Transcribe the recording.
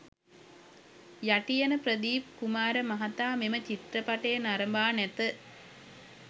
යටියන ප්‍රදීප් කුමාර මහතා මෙම චිත්‍රපටය නරඹා නැත.